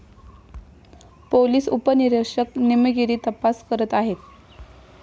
Police उपनिरीक्षक निमगीरे तपास करत आहेत.